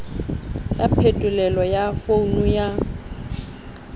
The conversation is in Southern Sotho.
ya phetolelo ya founu ya